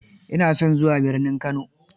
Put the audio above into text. Ina son zuwa birnin Kano.